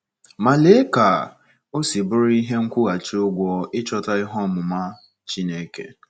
Ma lee ka o si bụrụ ihe nkwụghachi ụgwọ ịchọta "ihe ọmụma Chineke!"